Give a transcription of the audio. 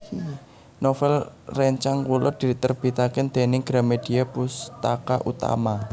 Novel rencang kulo diterbitaken dening Gramedia Pustaka Utama